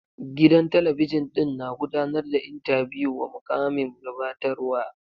Gidan talabijin ɗin na gudanar da intabiyu wa mukamin gabatarwa.